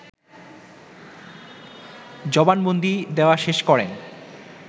জবানবন্দি দেয়া শেষ করেন